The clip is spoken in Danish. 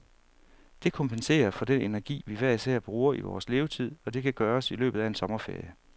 Det kompenserer for den energi, vi hver især bruger i vores levetid, og det kan gøres i løbet af en sommerferie.